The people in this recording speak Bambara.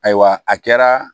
Ayiwa a kɛra